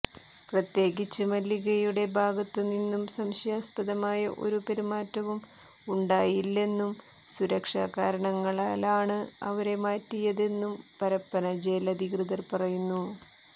പ്രത്യേകിച്ച് മല്ലികയുടെ ഭാഗത്ത് നിന്നും സംശയാസ്പദമായ ഒരു പെരുമാറ്റവും ഉണ്ടായില്ലെന്നും സുരക്ഷാ കാരണങ്ങളാലാണ് അവരെ മാറ്റിയതെന്നും പരപ്പന ജയിലധികൃതർ പറയുന്നു